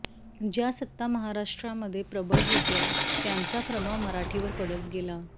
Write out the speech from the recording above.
ज्या सत्ता महाराष्ट्रामध्ये प्रबळ होत्या त्यांचा प्रभाव मराठीवर पडत गेला